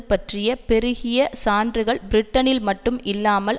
பற்றிய பெருகிய சான்றுகள் பிரிட்டனில் மட்டும் இல்லாமல்